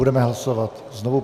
Budeme hlasovat znovu.